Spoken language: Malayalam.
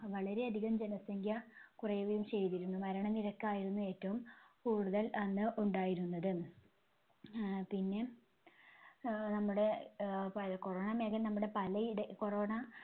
വളരെ അധികം ജനസംഖ്യ കുറയുകയും ചെയ്‌തിരുന്നു. മരണനിരക്കായിരുന്നു ഏറ്റവും കൂടുതൽ അന്ന് ഉണ്ടായിരുന്നത്. ആഹ് പിന്നെ ആഹ് നമ്മുടെ ആഹ് പല corona നമ്മുടെ പല ഇട corona